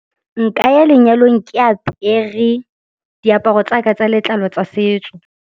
Nka ya lenyalong ke apere diaparo tsaka tsa letlalo tsa setso.